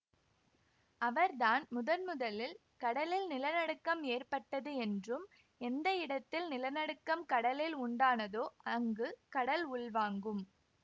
அவர் தான் முதன்முதலில் கடலில் நிலநடுக்கம் ஏற்பட்டது என்றும் எந்த இடத்தில் நிலநடுக்கம் கடலில் உண்டானதோ அங்கு கடல் உள்வாங்கும்